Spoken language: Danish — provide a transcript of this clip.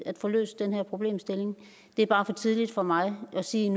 at få løst den her problemstilling det er bare for tidligt for mig nu at sige